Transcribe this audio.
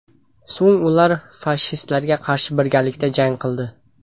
So‘ng ular fashistlarga qarshi birgalikda jang qildi.